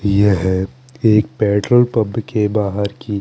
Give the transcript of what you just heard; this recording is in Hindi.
यह एक पेट्रोल पम्प के बाहर की--